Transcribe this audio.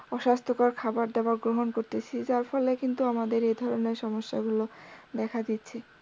অস্বাস্থ্যকর খাবার দাবার গ্রহন করতেসি যার ফলে কিন্তু আমাদের এই ধরনের সমস্যা গুলো দেখা দিচ্ছে।